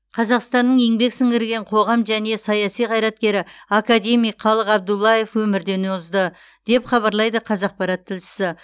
қазақстанның еңбек сіңірген қоғам және саяси қайраткері академик қалық абдуллаев өмірден озды деп хабарлайды қазақпарат тілшісі